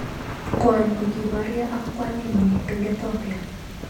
Kwony kokiboryo ak kwaninyi eng Ethiopia.